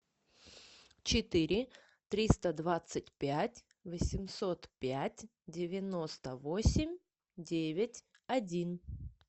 четыре триста двадцать пять восемьсот пять девяносто восемь девять один